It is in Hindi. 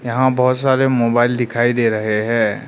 यहां बहुत सारे मोबाइल दिखाई दे रहे हैं।